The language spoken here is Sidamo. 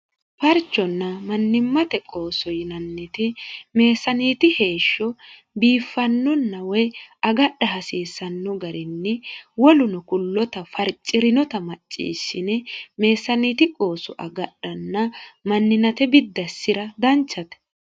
farchonna mannimmate qooso yinanniti meesaaniiti heeshsho biiffannonna woy agadha hasiissanno garinni woluno kullota farci'rinota macciissine meesaaniiti qoosu agadhanna manninate biddassi'ra danchate